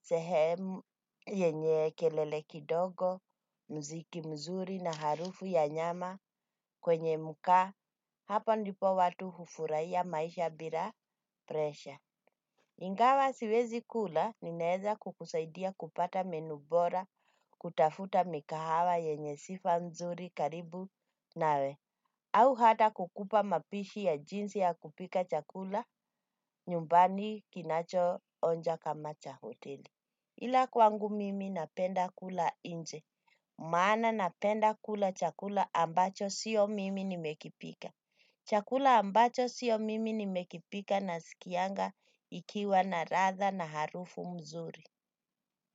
sehemu yenye kelele kidogo, mziki mzuri na harufu ya nyama kwenye muka. Hapa ndipo watu hufuraia maisha bila presha. Ingawa siwezi kula, ninaeza kukusaidia kupata menu bora, kutafuta mikahawa yenye sifa nzuri karibu nawe, au hata kukupa mapishi ya jinsi ya kupika chakula nyumbani kinacho onja kama cha hoteli. Ila kwangu mimi napenda kula nje, maana napenda kula chakula ambacho sio mimi nimekipika. Chakula ambacho sio mimi nimekipika na sikianga ikiwa na ratha na harufu mzuri.